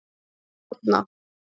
Árna